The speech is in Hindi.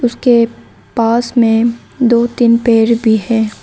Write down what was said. उसके पास में दो तीन पेड भी है।